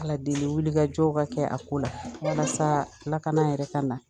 Ala deli wuli ka jɔw ka kɛ a ko la , walasa lakana yɛrɛ ka na.